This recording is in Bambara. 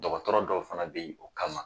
Dɔgɔtɔrɔ dɔw fana bɛ yen o kama